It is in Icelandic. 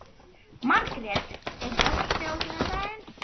Margrjet, er bolti á sunnudaginn?